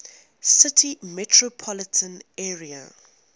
city metropolitan area